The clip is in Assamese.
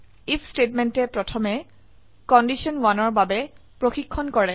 আইএফ স্টেটমেন্টে প্ৰথমে কণ্ডিশ্যন 1ৰ বাবে প্ৰসিক্ষন কৰে